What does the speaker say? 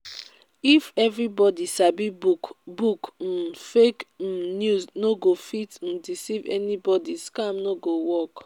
if everybody sabi book book um fake um news no go fit um deceive anybody scam no go work